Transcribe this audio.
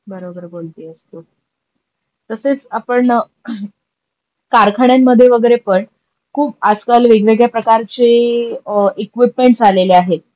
बरोबर बोलतीयेस तु. तशेच आपण कारखान्यांमध्ये वगेरे पण खूप आजकाल वेगवेगळ्या प्रकारचे इक़्विपमेंटस आलेले आहे,